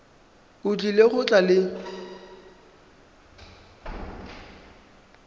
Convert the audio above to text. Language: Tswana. o tlile go tla le